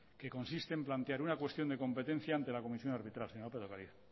que consiste en plantear una cuestión de competencia ante la comisión de arbitraje señora lópez de ocariz